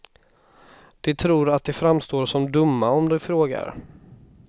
De tror att de framstår som dumma om de frågar.